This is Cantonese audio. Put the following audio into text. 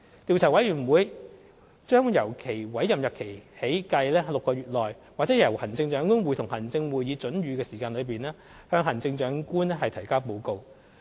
調查委員會將由其委任日期起計6個月內，或由行政長官會同行政會議准予的時間內，向行政長官提交報告。